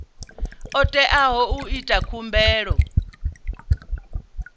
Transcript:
o teaho u ita khumbelo